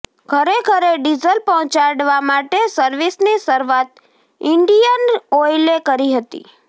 ઘરે ઘરે ડીઝલ પહોંચાડવા માટે સર્વિસની શરૂઆત ઇન્ડીયન ઓઇલે કરી હતી